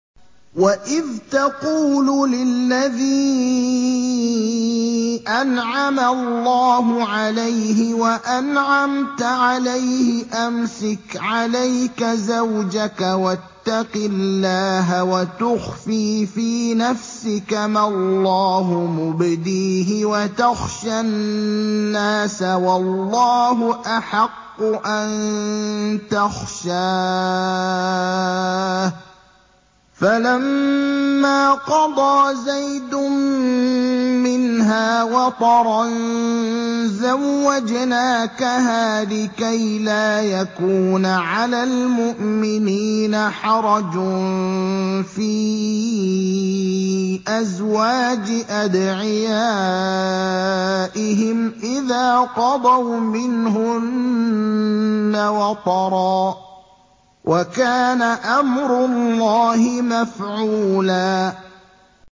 وَإِذْ تَقُولُ لِلَّذِي أَنْعَمَ اللَّهُ عَلَيْهِ وَأَنْعَمْتَ عَلَيْهِ أَمْسِكْ عَلَيْكَ زَوْجَكَ وَاتَّقِ اللَّهَ وَتُخْفِي فِي نَفْسِكَ مَا اللَّهُ مُبْدِيهِ وَتَخْشَى النَّاسَ وَاللَّهُ أَحَقُّ أَن تَخْشَاهُ ۖ فَلَمَّا قَضَىٰ زَيْدٌ مِّنْهَا وَطَرًا زَوَّجْنَاكَهَا لِكَيْ لَا يَكُونَ عَلَى الْمُؤْمِنِينَ حَرَجٌ فِي أَزْوَاجِ أَدْعِيَائِهِمْ إِذَا قَضَوْا مِنْهُنَّ وَطَرًا ۚ وَكَانَ أَمْرُ اللَّهِ مَفْعُولًا